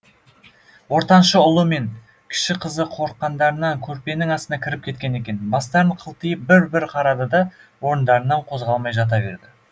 ортаншы ұлы мен кіші қызы қорыққандарынан көрпенің астына кіріп кеткен екен бастарын қылтитып бір бір қарады да орындарынан қозғалмай жата берді